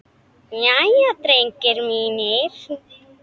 Jæja, drengir mínir!